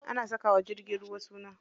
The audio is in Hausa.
Ana saka wa jirgin ruwa suna.